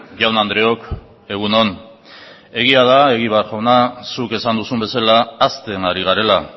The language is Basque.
jaun andreok egun on egia da egibar jauna zuk esan duzun bezala hazten ari garela